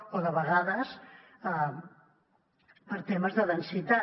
o de vegades per temes de densitat